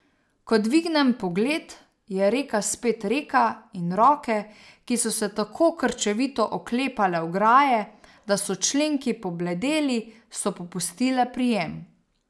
Ko dvignem pogled, je reka spet reka in roke, ki so se tako krčevito oklepale ograje, da so členki pobledeli, so popustile prijem.